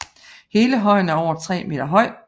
Hele højen er over 3 meter høj